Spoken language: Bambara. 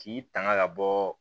K'i tanga ka bɔ